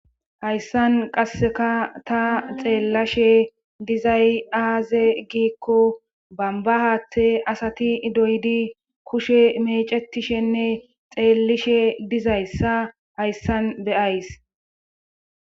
hayssan qasseka ta xeellashe dizay aaze giikko bamba haatte asati doydi kushe mecetishenne xeellishe dizayssa hayssan b'yays